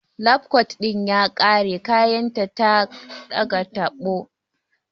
Lab kot ɗin ya kare kayan ta daga tabo